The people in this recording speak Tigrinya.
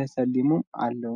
ተሰሊሞም ኣለዉ።